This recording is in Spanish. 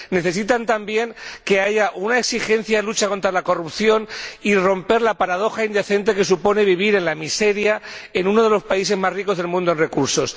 Necesitan también que haya una exigencia de lucha contra la corrupción y romper la paradoja indecente que supone vivir en la miseria en uno de los países más ricos del mundo en recursos.